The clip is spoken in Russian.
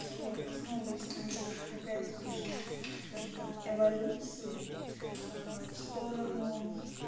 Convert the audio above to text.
вот основываясь на их опять-таки же скажем так эволюции в сторону